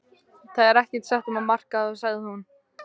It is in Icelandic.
Það er ekkert að marka það sagði hún.